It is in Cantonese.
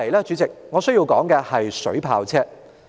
主席，我接着要談的是水炮車。